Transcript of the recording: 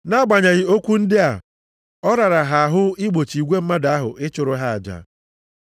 Nʼagbanyeghị okwu ndị a, ọ rara ha ahụ igbochi igwe mmadụ ahụ ịchụrụ ha aja.